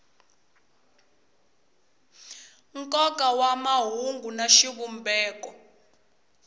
nkoka wa mahungu na xivumbeko